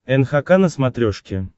нхк на смотрешке